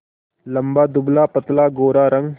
लंबा दुबलापतला गोरा रंग